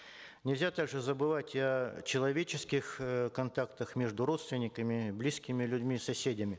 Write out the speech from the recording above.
нельзя также забывать о человеческих э контактах между родственниками близкими людьми соседями